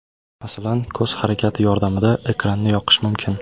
Masalan, ko‘z harakati yordamida ekranni yoqish mumkin.